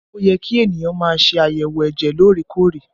Ó yẹ kí ènìyàn má ṣe àyẹ̀wò ẹ̀jẹ̀ lóòrè-kóòrè